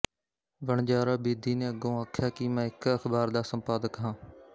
ਵਣਜਾਰਾ ਬੇਦੀ ਨੇ ਅੱਗੋਂ ਆਖਿਆ ਕਿ ਮੈਂ ਇੱਕ ਅਖ਼ਬਾਰ ਦਾ ਸੰਪਾਦਕ ਹਾਂ